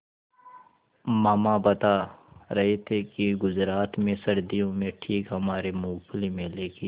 मामा बता रहे थे कि गुजरात में सर्दियों में ठीक हमारे मूँगफली मेले की